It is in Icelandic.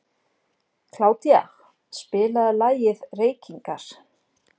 Kládía, spilaðu lagið „Reykingar“.